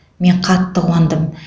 мен қатты қуандым